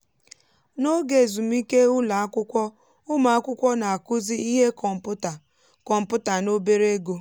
n’oge ezumike ụlọ akwụkwọ ụmụ akwụkwọ na-akụzi ihe kọmpụta kọmpụta na obere ego.